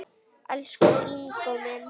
Elsku Ingó minn.